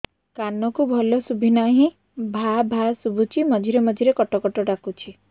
କାନକୁ ଭଲ ଶୁଭୁ ନାହିଁ ଭାଆ ଭାଆ ଶୁଭୁଚି ମଝିରେ ମଝିରେ କଟ କଟ ଡାକୁଚି